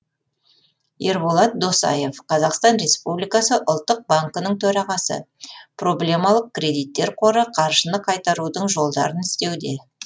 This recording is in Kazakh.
ерболат досаев қазақстан республикасы ұлттық банкінің төрағасы проблемалық кредиттер қоры қаржыны қайтарудың жолдарын іздеуде